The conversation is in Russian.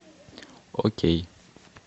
окей